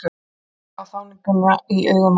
Sá þjáninguna í augum hans.